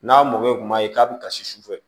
N'a mɔkɛ kum'a ye k'a bɛ kasi sufɛ